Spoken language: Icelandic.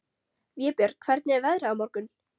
Vébjörn, hvernig er veðrið á morgun?